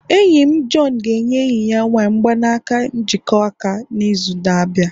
enyi m John ga-enye enyi ya nwanyị mgbanaka njikọ aka n'izu na-abịa